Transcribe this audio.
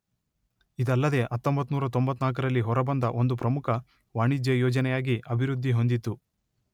ಇದಲ್ಲದೆ ಹತ್ತೊಂಬತ್ತು ನೂರ ತೊಂಬತ್ತನಾಲ್ಕರಲ್ಲಿ ಹೊರಬಂದ ಒಂದು ಪ್ರಮುಖ ವಾಣಿಜ್ಯ ಯೋಜನೆಯಾಗಿ ಅಭಿವೃದ್ಧಿ ಹೊಂದಿತು.